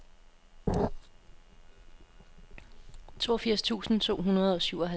toogfirs tusind to hundrede og syvoghalvtreds